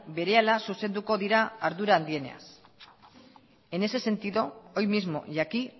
berehala zuzenduko dira ardura handienean en ese sentido hoy mismo y aquí